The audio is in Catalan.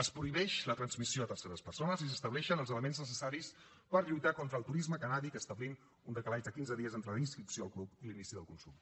es prohibeix la transmissió a terceres persones i s’estableixen els elements necessaris per lluitar contra el turisme cannàbic establint un decalatge de quinze dies entre la inscripció al club i l’inici del consum